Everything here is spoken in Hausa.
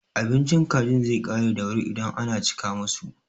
Abincin kajin zai ƙare da wuri idan ana cika musu.